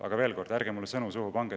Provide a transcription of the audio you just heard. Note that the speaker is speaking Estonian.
Aga veel kord: ärge pange mulle sõnu suhu!